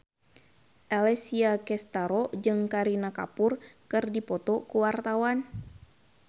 Alessia Cestaro jeung Kareena Kapoor keur dipoto ku wartawan